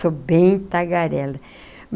Sou bem tagarela.